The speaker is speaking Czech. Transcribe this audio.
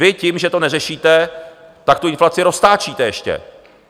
Vy tím, že to neřešíte, tak tu inflaci roztáčíte ještě.